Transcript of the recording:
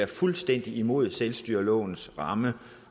fuldstændig imod selvstyrelovens ramme